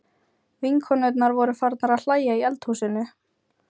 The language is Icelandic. Vinkonurnar voru farnar að hlæja í eldhúsinu.